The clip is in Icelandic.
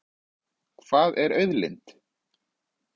Hvað er auðlind?